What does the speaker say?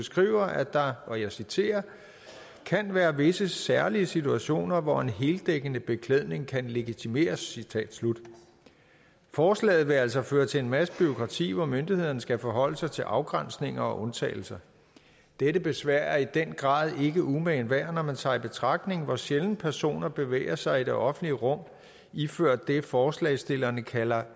skriver at der og jeg citerer kan være visse særlige situationer hvor en heldækkende beklædning kan legitimeres forslaget vil altså føre til en masse bureaukrati hvor myndighederne skal forholde sig til afgrænsninger og undtagelser dette besvær er i den grad ikke umagen værd når man tager i betragtning hvor sjældent personer bevæger sig i det offentlige rum iført det forslagsstillerne kalder